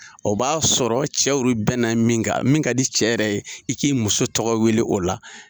O b'a sɔrɔ cɛw yɛrɛw bɛn na min kan ,min ka di cɛ yɛrɛ ye i k'i muso tɔgɔ wele o la.